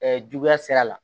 juguya sira la